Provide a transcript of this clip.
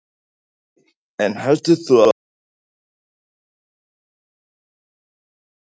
Andri: En heldur þú að fólk haldi sig ekki heima við í dag?